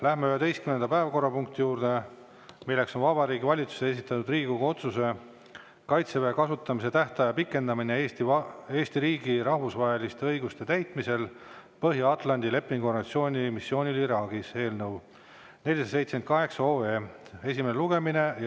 Läheme 11. päevakorrapunkti juurde, milleks on Vabariigi Valitsuse esitatud Riigikogu otsuse "Kaitseväe kasutamise tähtaja pikendamine Eesti riigi rahvusvaheliste kohustuste täitmisel Põhja-Atlandi Lepingu Organisatsiooni missioonil Iraagis" eelnõu 478 esimene lugemine.